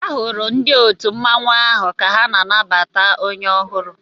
E hụrụ ndị òtù mmanwu áhù ka ha na-anabata onye ọhụrụ